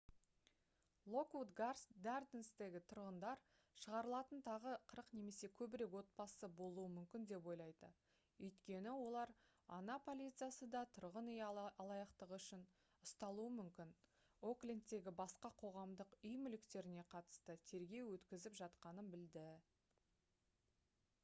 локвуд гарденстегі тұрғындар шығарылатын тағы 40 немесе көбірек отбасы болуы мүмкін деп ойлайды өйткені олар oha полициясы да тұрғын үй алаяқтығы үшін ұсталуы мүмкін оклендтегі басқа қоғамдық үй мүліктеріне қатысты тергеу өткізіп жатқанын білді